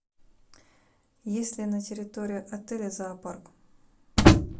есть ли на территории отеля зоопарк